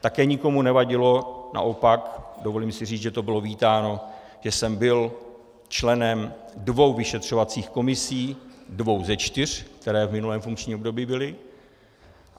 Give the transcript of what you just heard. Také nikomu nevadilo, naopak, dovolím si říct, že to bylo vítáno, že jsem byl členem dvou vyšetřovacích komisí, dvou ze čtyř, které v minulém funkčním období byly.